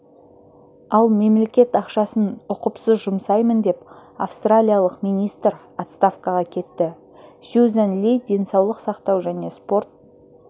ал мемлекет ақшасын ұқыпсыз жұмсаймын деп австралиялық министр отставкаға кетті сьюзан ли денсаулық сақтау және спорт